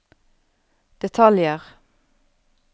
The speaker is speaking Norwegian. detaljer